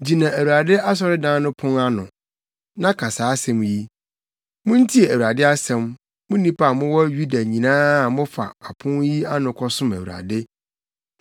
“Gyina Awurade asɔredan no pon ano, na ka saa asɛm yi: “ ‘Muntie Awurade asɛm, mo nnipa a mowɔ Yuda nyinaa a mofa apon yi ano kɔsom Awurade.